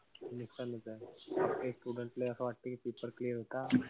नुकसानच ए. काई students ले असं वाटत कि paper clear होता.